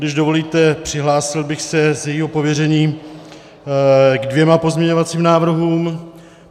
Když dovolíte, přihlásil bych se z jejího pověření ke dvěma pozměňovacím návrhům.